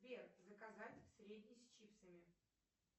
сбер заказать средний с чипсами